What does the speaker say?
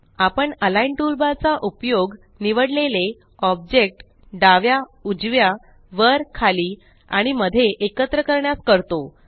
आपण align toolbar चा उपयोग निवडलेले ऑब्जेक्ट डाव्या उजव्या वर खाली आणि मध्ये एकत्र करण्यास करतो